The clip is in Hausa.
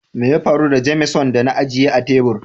Mai ya faru da "Jameson " da na agiye a tebur?